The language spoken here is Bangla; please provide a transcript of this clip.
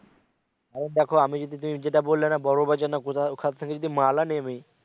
আরে দেখো আমি যদি তুমি যেটা বললে না বড় বাজার না কোথায় ওখান থেকে যদি আমি মাল আনি আমি